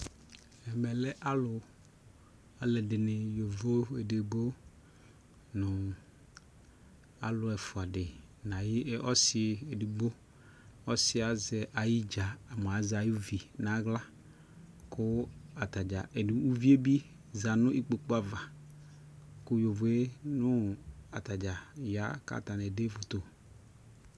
Ɛmɛ lɛ alu, alu ɛdini yovo ɛdigbo nu alu ɛfua di na yi ɔsi ɛdigboƆsi yɛ azɛ ayi dza mua zɛ ayʋ vi na ɣlaKu atadza ku uvie bi za nu ikpoku avaKu yovo nu ata dza ya kata ne ɛde foto